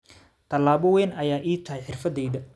“Talaabo weyn ayay ii tahay xirfadeyda.